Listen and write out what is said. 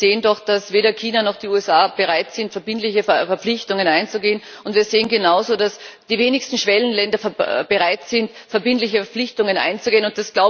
Wir sehen doch, dass weder China noch die USA bereit sind, verbindliche Verpflichtungen einzugehen, und wir sehen genauso, dass die wenigsten Schwellenländer bereit sind, verbindliche Verpflichtungen einzugehen.